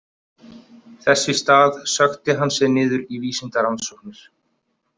Þess í stað sökkti hann sér niður í vísindarannsóknir.